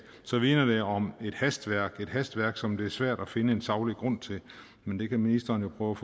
så minder det om et hastværk hastværk som det er svært at finde en saglig grund til men det kan ministeren jo prøve